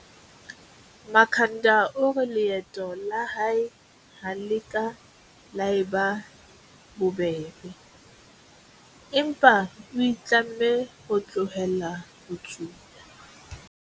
Makhanda o re leeto la hae ha le ka la eba bobebe, empa o itlamme ho tlohela ho tsuba.